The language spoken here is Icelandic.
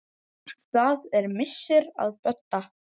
Það er missir að Bödda.